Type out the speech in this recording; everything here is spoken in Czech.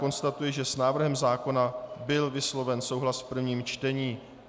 Konstatuji, že s návrhem zákona byl vysloven souhlas v prvním čtení.